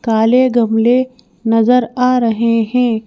काले गमले नजर आ रहे हैं।